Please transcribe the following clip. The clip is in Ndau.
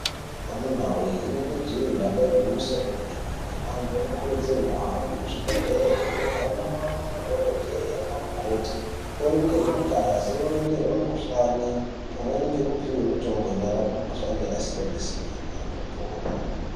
Amunawee rinenge jee damba igwinyiso remene mene antu anokurudzirwa kuhambe kuzvibhedhlera uko anonoona madhogodheya naana mukoti kooningirwe ngazi oningirwe mukuhlani, pamweni ngekupihwe mitombo inorape mukuhlane yakasiyana-siuana, antu opora.